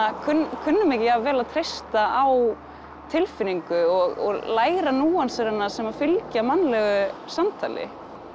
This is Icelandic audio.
kunnum kunnum ekki jafn vel að treysta á tilfinningu og læra núansana sem fylgja mannlegu samtali